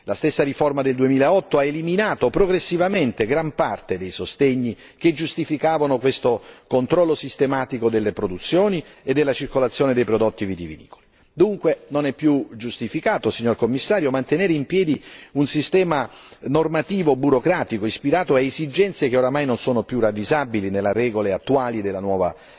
La stessa riforma del 2008 ha eliminato progressivamente gran parte dei sostegni che giustificavano questo controllo sistematico delle produzioni e della circolazione dei prodotti vitivinicoli. Signor Commissario, non è dunque più giustificato mantenere in piedi un sistema normativo burocratico, ispirato a esigenze che ormai non sono più ravvisabili nelle regole attuali della nuova